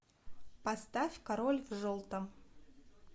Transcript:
поставь король в желтом